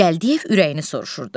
Gəldiyev ürəyini soruşurdu.